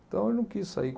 Então, ele não quis sair.